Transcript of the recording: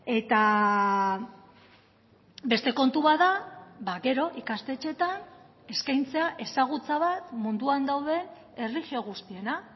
eta beste kontu bat da gero ikastetxeetan eskaintzea ezagutza bat munduan dauden erlijio guztiena